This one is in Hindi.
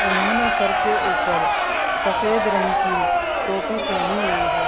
उन्होंने सर के ऊपर सफेद रंग की टोपी पहनी हुई है।